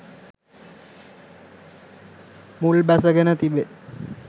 මුල් බැසගෙන තිබේ.